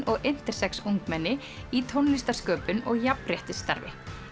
og intersex ungmenni í tónlistarsköpun og jafnréttisstarfi